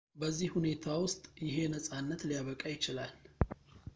በዚህ ሁኔታ ውስጥ ይሄ ነጻነት ሊያበቃ ይችላል